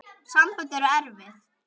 Sambönd eru erfið!